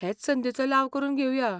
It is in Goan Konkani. हेच संदीचो लाव करून घेवया .